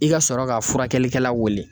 I ka sɔrɔ ka furakɛlikɛla wele.